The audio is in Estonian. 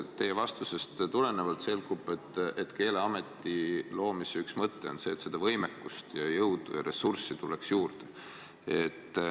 Teie vastusest selgub, et Keeleameti loomise üks mõte on see, et seda võimekust, jõudu ja ressurssi tuleks juurde.